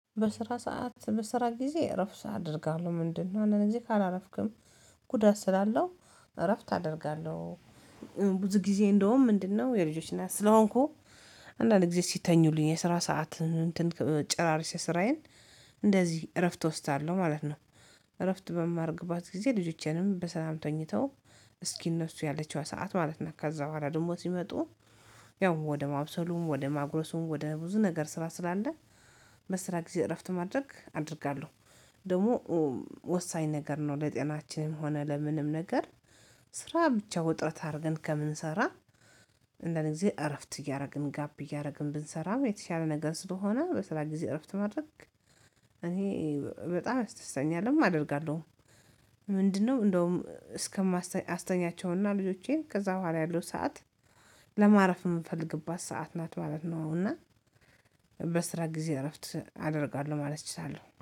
በስራ ሰዓት በስራ ጊዜ እረፍት አደርጋለሁ። ምንድነው? እነዚህ ካላረፍክም ጉዳት ስላለው እረፍት አደርጋለሁ። ብዙ ጊዜ እንደውም ምንድነው የልጆች ስለሆንኩ አንዳንድ ጊዜ ሲተኙልኝ የስራ ሰዓት ጭራርሰ ስራዬን እንደዚህ እረፍት እወስዳለሁ ማለት ነው። እረፍት በማርግባት ጊዜ ልጆቼንም በሰላም ተኝተው እስኪ እነሱ ያለችዋ ሰዓት ማለት ነው። ከዛ በኋላ ደግሞ ሲመጡ ያው ወደ ማብሰሉም ወደ ማጉረሱም ወደ ብዙ ነገር ስራ ስላለ መስሪያ ጊዜ እረፍት ማድረግ አደርጋለሁ። ደግሞ ወሳኝ ነገር ነው ለጤናችንም ሆነ ለምንም ነገር። ስራ ብቻ ውጥረት አድርገን ከምንሰራ አንዳንድ ጊዜ እረፍት እያደረግን ጋፕ እያደረግን ብንሰራ የተሻለ ነገር ስለሆነ በስራ ጊዜ እረፍት ማድረግ። እኔ በጣም ያስደስተኛልም አደርጋለሁ። ምንድነው? እንደውም እስከማስተኛ አስተኛቸውና ልጆቼን ከዛ በኋላ ያለው ሰዓት ለማረፍ የምፈልግባት ሰዓት ናት ማለት ነው። እና በስራ ጊዜ እረፍት አደርጋለሁ ማለት እችላለሁ